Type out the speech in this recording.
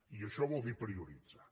i això vol dir prioritzar